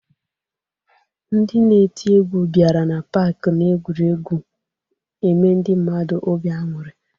Ndị na-eti egwu bịara n'pak n'egwuregwu eme ndị mmadụ obi aṅụrị